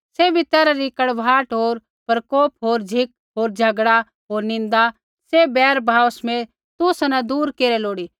सैभी तैरहा री कड़वाहट होर प्रकोप होर झ़िक होर झगड़ा होर निन्दा सैभ बैरभाव समेत तुसा न दूर केरै लोड़ी